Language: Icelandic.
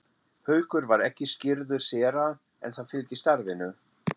Haukur var ekki skírður séra en það fylgir starfinu.